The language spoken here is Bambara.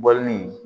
Bɔlɔnni